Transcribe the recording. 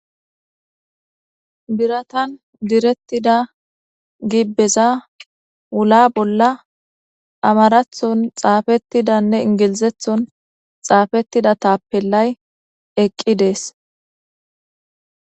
biratan direttida gibbeza wula bolla amarathon xaafettidanne ingilizethon xaafettida taappellay eqqi dees